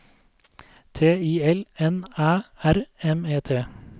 T I L N Æ R M E T